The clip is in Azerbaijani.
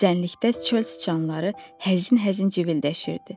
Düzənlikdə çöl sıçanları həzin-həzin civildəşirdi.